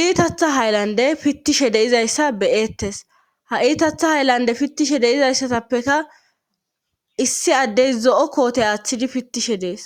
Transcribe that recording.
iitatha haylande pittishe deizayssa beyettes ha iitatha hayllande pittishe deizayssatappeka issi addey zo7o koote aaththidi pittishe dees